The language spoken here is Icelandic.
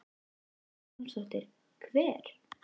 Hödd Vilhjálmsdóttir: Hver?